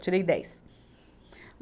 Tirei dez.